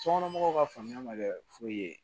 Sokɔnɔmɔgɔw ka faamuya ma kɛ foyi ye